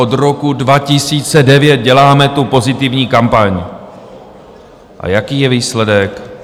Od roku 2009 děláme tu pozitivní kampaň, a jaký je výsledek?